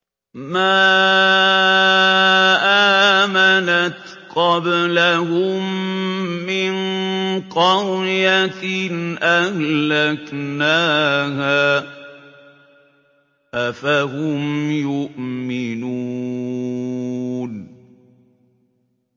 مَا آمَنَتْ قَبْلَهُم مِّن قَرْيَةٍ أَهْلَكْنَاهَا ۖ أَفَهُمْ يُؤْمِنُونَ